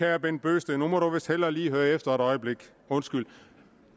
herre bent bøgsted nu må du vist hellere lige høre efter et øjeblik undskyld